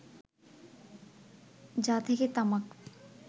যা থেকে তামাক